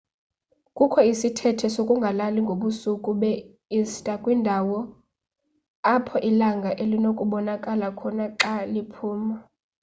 kukho isithethe sokungalali ngobusuku be-ista kwindawo apho ilanga linokubonakala khona xa liphuma